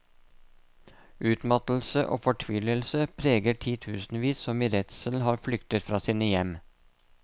Utmattelse og fortvilelse preger titusenvis som i redsel har flyktet fra sine hjem.